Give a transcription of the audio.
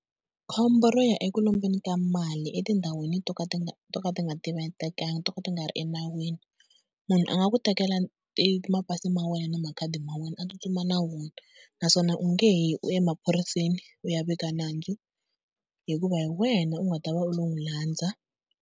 Khombo ro ya eku lombeni ka mali etindhawini to ka ti to ka ti nga to ka ti nga ri enawini. Munhu a nga ku tekela e mapasi ma wena na makhadi ma wena a tsutsuma na wona, naswona u nge yi u ya emaphoriseni u ya vika nandzu hikuva hi wena u nga ta va u lo n'wi landza.